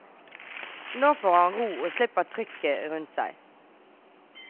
Nå får han ro og slipper trykket rundt seg.